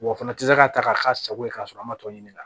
Wa o fana tɛ se k'a ta k'a k'a sago ye k'a sɔrɔ an ma tɔ ɲini ka